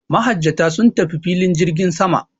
Mahajjata sun tafi filin jirgin sama.